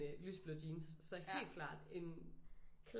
Lyseblå jeans så helt klart en